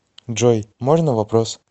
джой можно вопрос